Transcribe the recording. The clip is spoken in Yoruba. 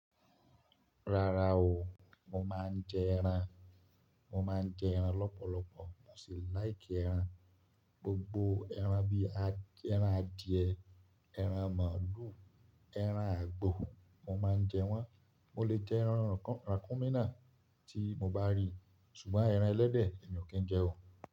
Rárá o, mo máa ń jẹ ẹran. Mo máa ń jẹ ẹran lọ́pọ̀lọpọ̀, mo sì like ẹran. Gbogbo ẹran bíi ẹran adìẹ, ẹran màlúù, ẹran àgbò, mo máa ń jẹ wọ́n. Mo lè jẹ ẹran Ràkúnmí naa tí mo bá rí. Ṣùgbọ́n ẹran ẹlẹ́dẹ̀, mí ọ kì í jẹ ó.